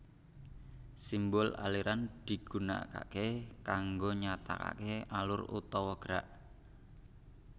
Simbol aliran digunakaké kanggo nyatakaké alur utawa gerak